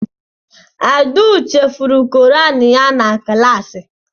Abdul chefuru Koran ya na klaasị.